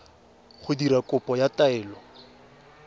go dira kopo ya taelo